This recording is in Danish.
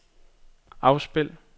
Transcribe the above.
afspil